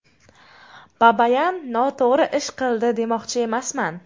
Babayan noto‘g‘ri ish qildi demoqchi emasman.